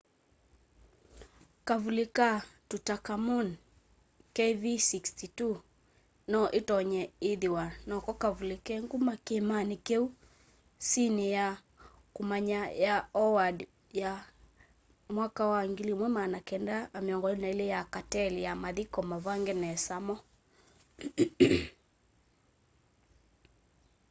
kavuli ka tutankhamun kv62. kv62 no itonye ithwa noko kavuli ke nguma kiimani kiu sini ya kumanya ya howard ya 1922 ya cartel ya mathiko mavange nesa ma